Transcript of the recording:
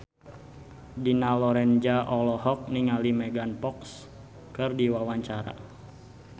Dina Lorenza olohok ningali Megan Fox keur diwawancara